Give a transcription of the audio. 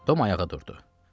Tom ayağa durdu.